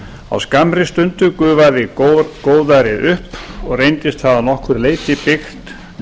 á skammri stundu gufaði góðærið upp og reyndist það að nokkru leyti byggt